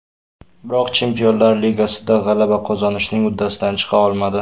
Biroq Chempionlar Ligasida g‘alaba qozonishning uddasidan chiqa olmadi.